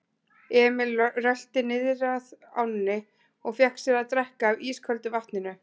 Emil rölti niðrað ánni og fékk sér að drekka af ísköldu vatninu.